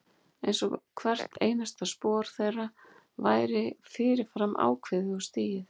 Einsog hvert einasta spor þeirra væri fyrir fram ákveðið og stigið.